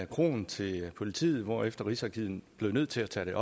kroen til politiet hvorefter rigsarkivet blev nødt til at tage